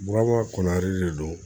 Burama kɔnɔrilen don